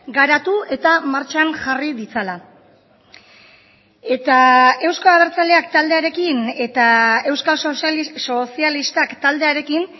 garatu eta martxan jarri ditzala eta euzko abertzaleak taldearekin eta euskal sozialistak taldearekin